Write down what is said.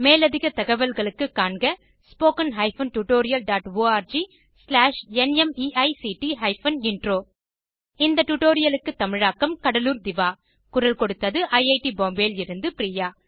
மேலதிக தகவல்களுக்கு காண்க httpspoken tutorialorgNMEICT Intro இந்த டுடோரியலுக்கு தமிழாக்கம் கடலூர் திவா குரல் கொடுத்தது ஐஐடி பாம்பேவில் இருந்து பிரியா